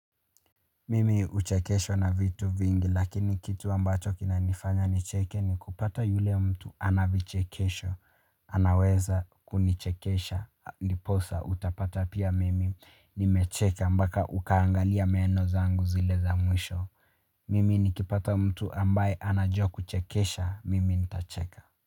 Mimi uchekeshwa na vitu vingi lakini kitu ambato kina nifanga nicheke ni kupata yule mtu ana vichekesho anaweza kunichekesha niposa utapata pia mimi nimecheka mbaka ukangalia meno zangu zile za mwisho mimi nikipata mtu ambaye anajua kuchekesha mimi ni tacheka.